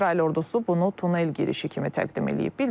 İsrail ordusu bunu tunel girişi kimi təqdim eləyib.